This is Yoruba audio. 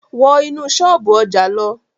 Wọ́ inú ṣọ́ọ̀bú ọjà lọ!